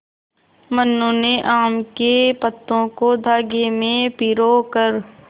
मनु ने आम के पत्तों को धागे में पिरो कर